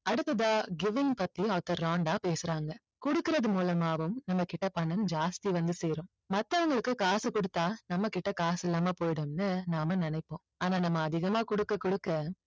அடுத்ததா கெவின் பத்தி ஆர்தர் ராண்டா பேசுறாங்க கொடுக்கறது மூலமாவும் நம்ம கிட்ட பணம் ஜாஸ்தி வந்து சேரும் மத்தவங்களுக்கு காசு கொடுத்தா நம்மகிட்ட காசு இல்லாம போயிடும்னு நாம நினைப்போம் ஆனா நம்ம அதிகமா கொடுக்க கொடுக்க